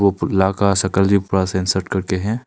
उपला का संकलजीम पूरा सनसेट कर के है।